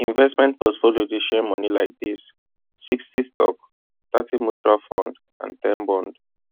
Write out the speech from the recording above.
investment portfolio dey share money like this sixty stock thirty mutual fund ten bond